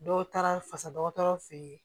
Dɔw taara fasa dɔgɔtɔrɔ fɛ yen